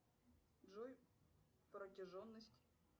джой протяженность